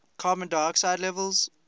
carbon dioxide levels